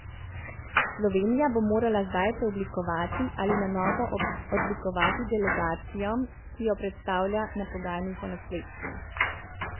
Slovenija bo morala zdaj preoblikovati ali na novo oblikovati delegacijo, ki jo bo predstavljala na pogajanjih o nasledstvu.